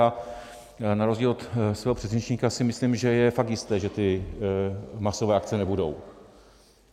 A na rozdíl od svého předřečníka si myslím, že je fakt jisté, že ty masové akce nebudou.